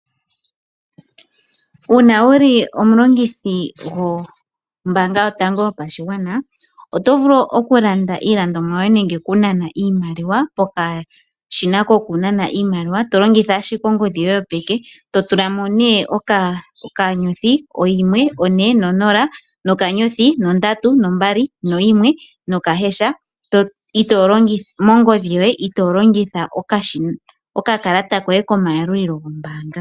Uuna wuli omulongithi gwombanga yotango yopashigwana oto vulu okulanda iilandomwa yoye nenge okunana iimaliwa pokashina kokunana iimaliwa tolongitha ashike ongodhi yoye yopeke. Totulamo oka*140*321# mongodhi yoye ito longitha okakalata koye komayalulilo gombaanga.